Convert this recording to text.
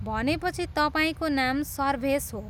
भनेपछि तपाईँको नाम सर्भेस हो।